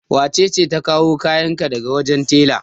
Wace ce ta kawo kayan ka daga wajen tela?